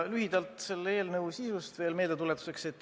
Lühidalt räägin meeldetuletuseks selle eelnõu sisust.